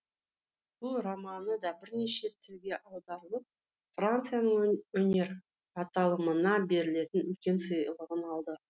бұл романы да бірнеше тілге аударылып францияның өнер аталымына берілетін үлкен сыйлығын алды